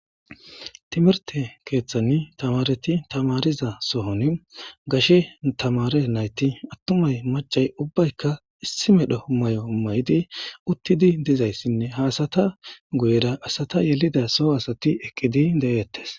timirte keeththanni tamareti tamariza sohon gashe tamare nayti attumay macay ubbayka issi medhoho mayo mayidi uttidi dizayssinne haasata guyera asata yelida soho asati eqqidi de7eettes